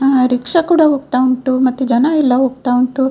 ಆ ರಿಕ್ಷಾ ಕೂಡ ಹೋಗ್ತಾ ಉಂಟು ಮತ್ತೆ ಜನ ಎಲ್ಲ ಹೋಗ್ತಾ ಉಂಟು.